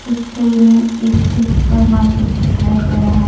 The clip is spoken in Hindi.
इस छवि में एक सुपरमार्केट दिखाया गया है ।